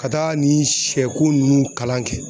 Ka taa nin siyɛko nunnu kalan kɛ